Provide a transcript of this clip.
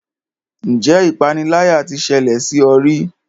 Ǹjẹ́ ipániláyà tí ṣẹlẹ̀ sí ọ rí?